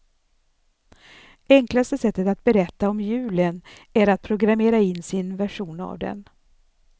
Enklaste sättet att berätta om julen är att programmera in sin version av den.